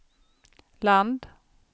land